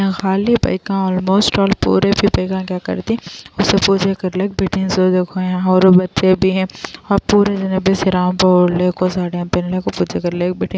یہاں تو خالی بھری تقریباً سارے ہی پائپ کا کیا کرتی ہیں اور بچے بھی ہیں اور ساری دنیا ساڑھیاں پہن کر پوجا کے لیے بیٹھتی ہے۔.